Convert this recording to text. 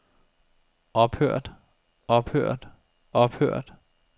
ophørt ophørt ophørt